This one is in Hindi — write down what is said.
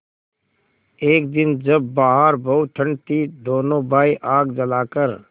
एक दिन जब बाहर बहुत ठंड थी दोनों भाई आग जलाकर